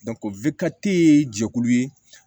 ye jɛkulu ye